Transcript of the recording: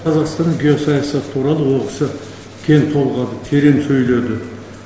қазақстанның геосаясаты туралы ол кісі кең толғады терең сөйледі